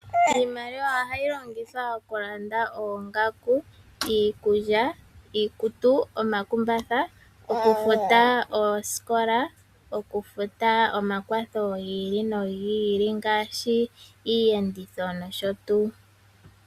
Iimaliwa ohayi longithwa okulanda oongaku, iikulya, iikutu, omakumbatha, okufuta oosikola, okufuta omakwatho gi ili nogi ili ngaashi iiyenditho nosho tuu.